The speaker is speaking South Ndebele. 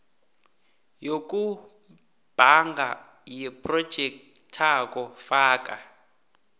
yokubhanga yephrojekthakho faka